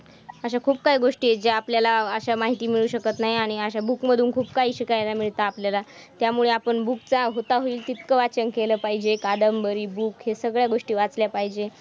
अशा खूप काही गोष्टी आहेत, ज्या आपल्याला अशा माहिती माहिती मिळू शकत नाही आणि अशा book मधून खूप काही शिकायला मिळतं आपल्याला. त्यामुळे आपण book चा होता होईल तितकं वाचन केलं पाहिजे. कादंबरी book हे सगळ्या गोष्टी वाचल्या पाहिजे.